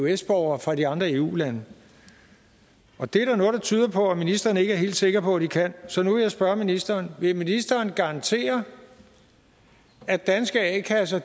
eøs borgere fra de andre eu lande og det er der noget der tyder på at ministeren ikke er helt sikker på de kan så nu vil jeg spørge ministeren vil ministeren garantere at danske a kasser